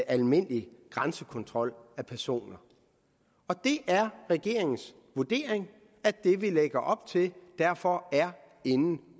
almindelig grænsekontrol af personer og det er regeringens vurdering at det vi lægger op til derfor er inden